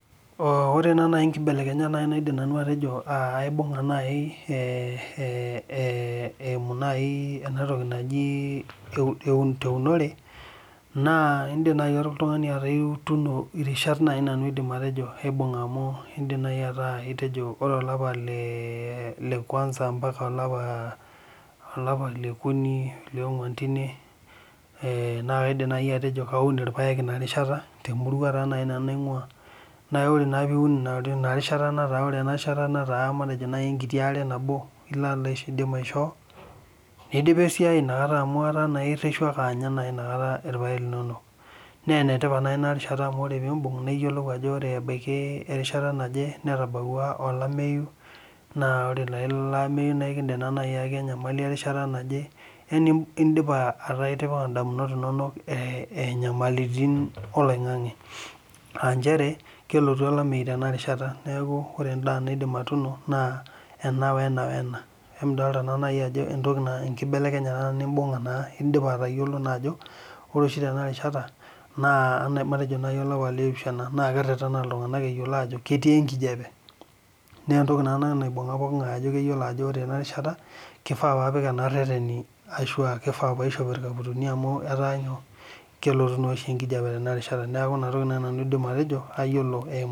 Ore naa naaji inkibelekenyat naaidim nanu atejo aibung'a nanu eimu eunore, naa indim naaji oltung'ani atuuno irishat naa naaji aidim nanu atejo nanu aibung' amu aidim naaji atejo ore olapa le kwanza ompaka olapa le okuni le onguan teine, naa kaidim atejo kaun naaji ilpaek teina rishata temurau taa naaji nanu naing'ua. Naa ore taa pee iun ina rishata naa ina rishat taa naa matejo enkiti aare nabo ilo aidim aishoo neidipa esiai amu ina kata naa etaa isioki anya naa naji ilpaek linono. Naa ene tipat naa ina rishata naa naaji amu ore pee imbung' naa iyiolou ajo ore erishata naje, netabauwa olameyu, naa ore naa ilo ameyu naa kindim aaki enyamali erishata naje, yani etaa indipa ataa itipika indamunot inono inyamalitin oloing'ang'e. Aa nchere kelotu olameyu tena rishata neaku ore endaa naidim atuuno naa ena wena, wena. Nidolita naa naji ajo enkibelekenyata naa nimbung'a naa indipa atayiolo naa ajo ore naa ena rishata naa matejo olapa naaji le opishana naa keretena iltung'ana eyiolo ajoo ketii enkijape naa entoki naa ena naibung'a pooking'ai eyiolo ajo ore ena rishata keishaa napik ena reten ahu a keifaa paishop ilkaputini amu ketaa elotu oshi enkijape tena rishata, neaku ina toki naaji aidim nanu atejo ayiolo eimu